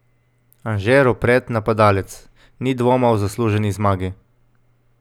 Anže Ropret, napadalec: 'Ni dvoma o zasluženi zmagi.